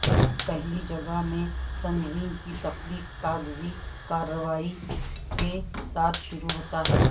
پہلی جگہ میں تنظیم کی تخلیق کاغذی کارروائی کے ساتھ شروع ہوتا ہے